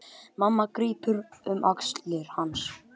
Mamma grípur um axlir hans.